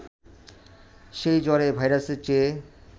সে জ্বরে ভাইরাসের চেয়ে